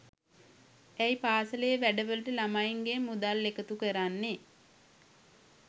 ඇයි පාසලේ වැඩවලට ළමයින්ගෙන් මුදල් එකතු කරන්නේ